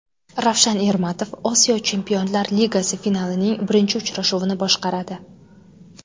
Ravshan Ermatov Osiyo chempionlar ligasi finalining birinchi uchrashuvini boshqaradi.